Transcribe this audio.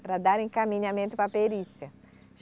Para dar encaminhamento para a perícia.